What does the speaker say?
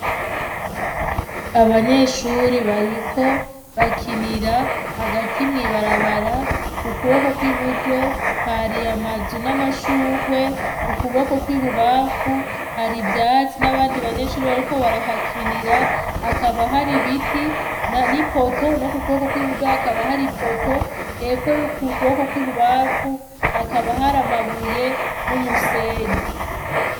Abanyeshure bariko bakinira hagati mw'ibarabara, mu kuboko kw'iburyo hari ama nzu namashurwe, mu kuboko kw'ibubafu har'ivyatsi nabandi banyeshure bariko barahakinira hakaba har'ibiti n'ipoto nomukuboko kw'iburyo hakaba har'ipoto hepfo y'ukuboko kw'ibubafu hakaba hari amabuye n'umusenyi.